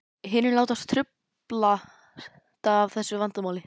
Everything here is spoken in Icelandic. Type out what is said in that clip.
Hinir láta truflast af þessu vandamáli.